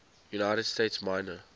united states minor